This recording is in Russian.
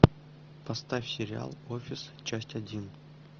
поставь сериал офис часть один